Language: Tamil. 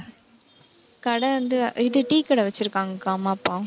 கடை வந்து இது tea க்கடை வெச்சிருக்காங்க அம்மா, அப்பா